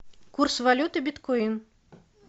курс валюты биткоин